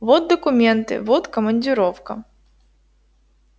вот документы вот командировка